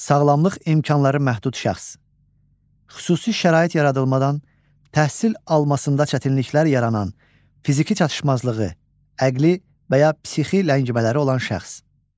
Sağlamlıq imkanları məhdud şəxs: Xüsusi şərait yaradılmadan təhsil almasında çətinliklər yaranan, fiziki çatışmazlığı, əqli və ya psixi ləngimələri olan şəxs.